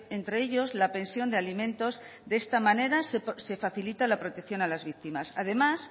entre ellos la pensión de alimentos de esta manera se facilita la protección a las víctimas además